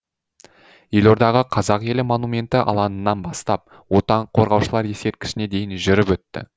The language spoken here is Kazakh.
елордадағы қазақ елі монументі алаңынан бастап отан қорғаушылар ескерткішіне дейін жүріп өтті